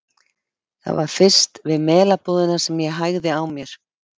Það var fyrst við Melabúðina sem ég hægði á mér.